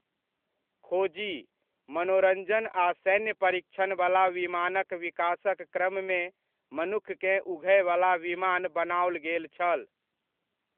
खोजी, मनोरञ्जन आ सैन्य परीक्षणबला विमानक विकासक क्रममे मनुक्खकेँ उघयबला विमान बनाओल गेल छल।